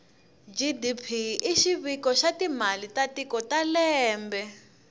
gdp ishiviko shatimale tatikotalembe